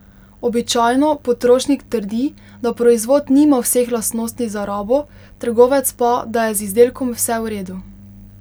Običajno potrošnik trdi, da proizvod nima vseh lastnosti za rabo, trgovec pa, da je z izdelkom vse v redu.